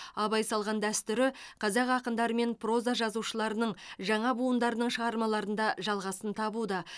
абай салған дәстүрі қазақ ақындары мен проза жазушыларының жаңа буындарының шығармаларында жалғасын табуда